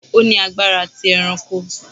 O ni agbara ti eranko